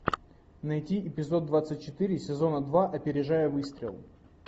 найти эпизод двадцать четыре сезона два опережая выстрел